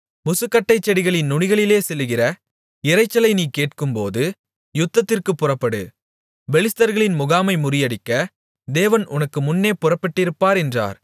முசுக்கட்டைச் செடிகளின் நுனிகளிலே செல்லுகிற இரைச்சலை நீ கேட்கும்போது யுத்தத்திற்குப் புறப்படு பெலிஸ்தர்களின் முகாமை முறியடிக்க தேவன் உனக்கு முன்னே புறப்பட்டிருப்பார் என்றார்